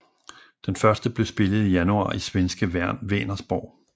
Den første blev spillet i januar i svenske Vänersborg